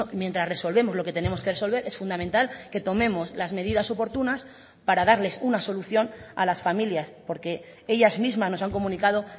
mientras resolvemos lo que tenemos que resolver es fundamental que tomemos las medidas oportunas para darles una solución a las familias porque ellas mismas nos han comunicado